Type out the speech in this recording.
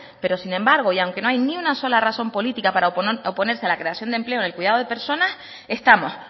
pero sin embargo y aunque no hay ni una sola razón política para oponerse a la creación de empleo en el cuidado de personas estamos